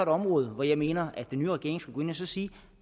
område hvor jeg mener den nye regering skulle sige